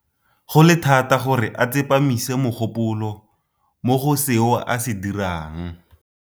Go le thata gore a tsepamise mogopolo mo go seo a se dirang.